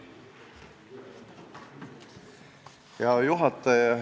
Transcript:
Hea juhataja!